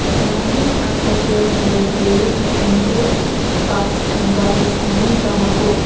the surroundings are various automotive parts and wires hanging from a post.